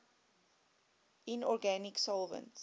inorganic solvents